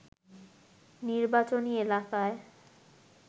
নির্বাচনী এলাকায়